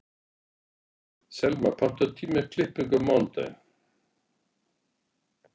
Selma, pantaðu tíma í klippingu á mánudaginn.